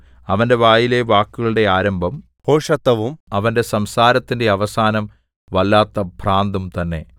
അവന്റെ വായിലെ വാക്കുകളുടെ ആരംഭം ഭോഷത്തവും അവന്റെ സംസാരത്തിന്റെ അവസാനം വല്ലാത്ത ഭ്രാന്തും തന്നെ